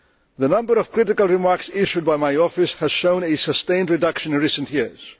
The number of critical remarks issued by my office has shown a sustained reduction in recent years.